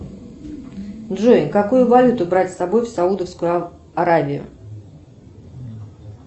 джой какую валюту брать с собой в саудовскую аравию